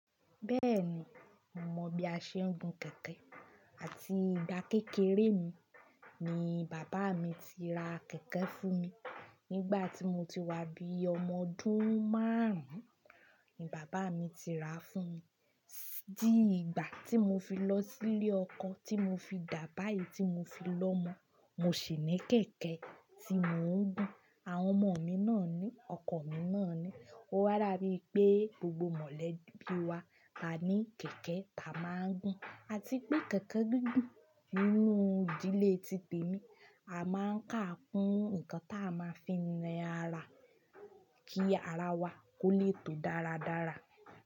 Bẹ́ẹ̀ni, mo mọ̀ bí a ṣe ń gun kẹ̀kẹ́ àti ìgbà kékeré mi ni bàbá mi ti ra kẹ̀kẹ́ fún mi. Nígbà tí mo ti wá bí ọmọ ọdún márùn-ún ni bàbá mi ti ra fún mi. Dí ìgbà tí mo fi lọ sílé ọkọ, tí mo fi dà bàyí tí mo fi lọ́mọ, mo sì ní kẹ̀kẹ́ tí mò ń gun. Àwọn ọmọ mi náà ni, ọkọ mi náà ni. Ó wáa dabí i pé gbogbo mọ̀lẹ́bí wa lá ní kẹ̀kẹ́ tá a máa ń gun. A ti pé kẹ̀kẹ́ dúdú nínú ìdílé ti tèmi, a máa ń kà á kún nǹkan tá a máa fi ń na ara kí ara wa kó le tó dáradára.